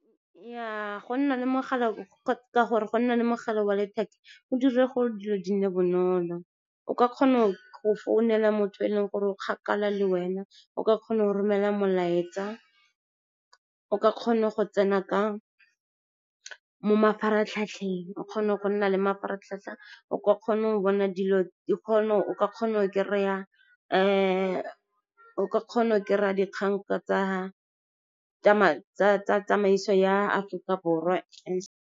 Nnyaa ka gore go nna le mogala wa letheka o dira gore dilo di nne bonolo. O ka kgona go founela motho e leng gore o kgakala le wena, o ka kgona go romela molaetsa, o ka kgona go tsena mo mafaratlhatlheng, o kgona go nna le mafaratlhatlha. O ka kgona go kry-a dikgang tsa tsamaiso ya Aforika Borwa.